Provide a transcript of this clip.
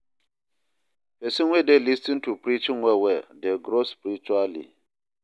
Pesin wey dey lis ten to preaching well well dey grow spiritually.